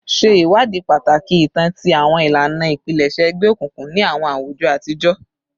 Ṣe iwadii pataki itan ti awọn ilana ipilẹṣẹ egbeokunkun ni awọn awujọ atijọ